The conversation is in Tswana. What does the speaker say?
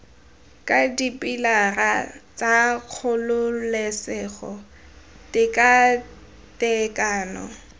ka dipilara tsa kgololesego tekatekano